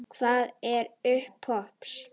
Hver er uppruni popps?